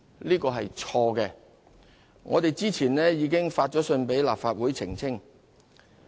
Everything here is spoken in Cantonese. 這是錯誤的，而政府早前已致函立法會澄清。